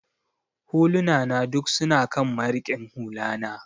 Huluna na duk su na kan marikin hula na.